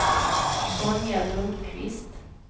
Sonja Lundkvist